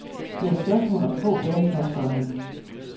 Det er spørgsmål om få dage, påstår han.